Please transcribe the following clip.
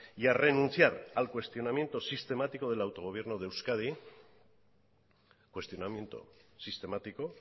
y a renunciar al cuestionamiento sistemático del autogobierno de euskadi cuestionamiento sistemático